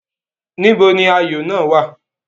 Níbo ni ayò náà wà?